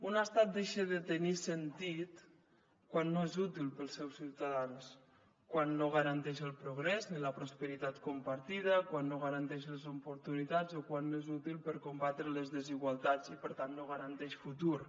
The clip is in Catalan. un estat deixa de tenir sentit quan no és útil per als seus ciutadans quan no garanteix el progrés ni la prosperitat compartida quan no garanteix les oportunitats o quan no és útil per combatre les desigualtats i per tant no garanteix futur